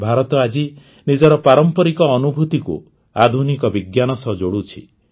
ଭାରତ ଆଜି ନିଜର ପାରମ୍ପରିକ ଅନୁଭୂତିକୁ ଆଧୁନିକ ବିଜ୍ଞାନ ସହ ଯୋଡ଼ୁଛି